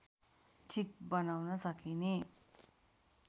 ठीक बनाउन सकिने